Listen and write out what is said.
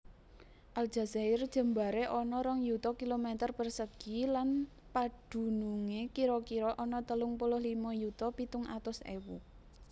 Aljazair jembaré ana rong yuta kilometer persegi lan padunungé kira kira ana telung puluh lima yuta pitung atus ewu